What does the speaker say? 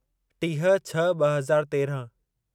टीह छह ॿ हज़ार तेरहं